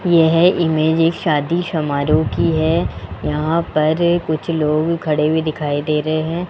यह इमेज एक शादी समारोह की है यहां पर कुछ लोग खड़े हुए दिखाई दे रहे हैं।